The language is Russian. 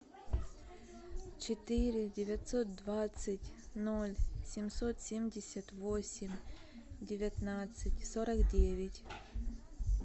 четыре девятьсот двадцать ноль семьсот семьдесят восемь девятнадцать сорок девять